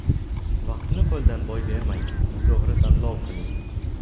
Vaqtni qo‘ldan boy bermang, to‘gri tanlov qiling!